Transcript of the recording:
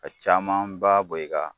Ka caman ba bɔ i kan .